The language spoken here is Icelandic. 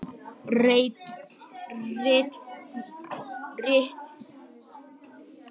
Rit þetta var jafnframt gefið út á ýmsum erlendum málum, í síðustu útgáfunum dálítið endurskoðað.